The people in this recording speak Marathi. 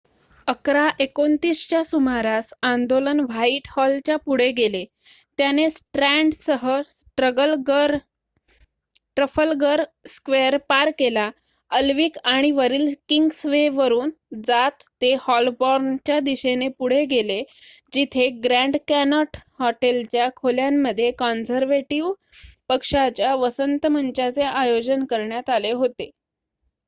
११ः२९ च्या सुमारास आंदोलन व्हाइटहॉलच्या पुढे गेले त्याने स्ट्रँडसह ट्रफलगर स्क्वेअर पार केला अल्विक आणि वरील किंग्सवे वरून जात ते हॉलबॉर्नच्या दिशेने पुढे गेले जिथे ग्रँड कॅनोट हॉटेलच्या खोल्यांमध्ये कॉन्झर्व्हेटिव्ह पक्षाच्या वसंत मंचाचे आयोजन करण्यात आले होते